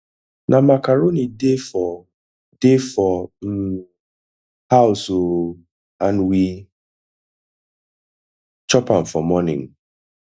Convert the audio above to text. na macaroni dey for dey for um house oo and we chop am for morning